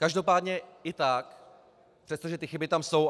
Každopádně i tak, přestože ty chyby tam jsou.